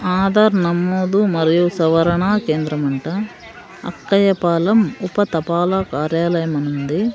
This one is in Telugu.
ఆధార్ నమోదు మరియు సవరణా కేంద్రమంట అక్కయ్యపాలెం ఉపతపాల కార్యాలయం అనుంది.